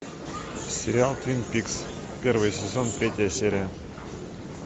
сериал твин пикс первый сезон третья серия